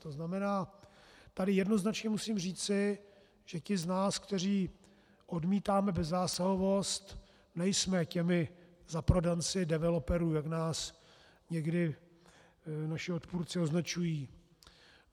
To znamená, tady jednoznačně musím říci, že ti z nás, kteří odmítáme bezzásahovost, nejsme těmi zaprodanci developerů, jak nás někdy naši odpůrci označují.